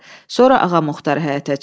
Sonra Ağamuxtar həyətə çıxdı.